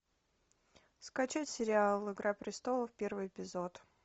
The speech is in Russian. скачать сериал игра престолов первый эпизод